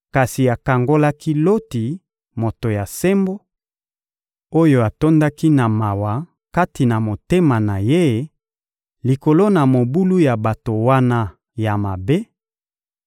kasi akangolaki Loti, moto ya sembo, oyo atondaki na mawa kati na motema na ye likolo na mobulu ya bato wana ya mabe,